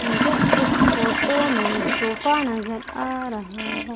मुझे इस फोटो में सोफा नजर आ रहा है।